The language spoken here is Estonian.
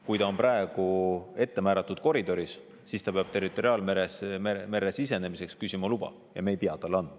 Kui ta on praegu määratud koridoris, siis ta peab territoriaalmerre sisenemiseks luba küsima ja me ei pea seda talle andma.